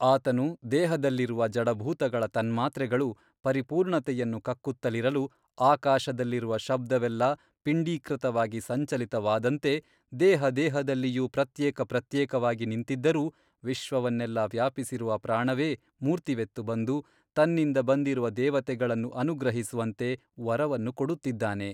ಆತನು ದೇಹದಲ್ಲಿರುವ ಜಡಭೂತಗಳ ತನ್ಮಾತ್ರೆಗಳು ಪರಿಪೂರ್ಣತೆಯನ್ನು ಕಕ್ಕುತ್ತಲಿರಲು ಆಕಾಶದಲ್ಲಿರುವ ಶಬ್ದವೆಲ್ಲ ಪಿಂಡೀಕೃತವಾಗಿ ಸಂಚಲಿತವಾದಂತೆ ದೇಹ ದೇಹದಲ್ಲಿಯೂ ಪ್ರತ್ಯೇಕ ಪ್ರತ್ಯೇಕವಾಗಿ ನಿಂತಿದ್ದರೂ ವಿಶ್ವವನ್ನೆಲ್ಲ ವ್ಯಾಪಿಸಿರುವ ಪ್ರಾಣವೇ ಮೂರ್ತಿವೆತ್ತು ಬಂದು ತನ್ನಿಂದ ಬಂದಿರುವ ದೇವತೆಗಳನ್ನು ಅನುಗ್ರಹಿಸುವಂತೆ ವರವನ್ನು ಕೊಡುತ್ತಿದ್ದಾನೆ.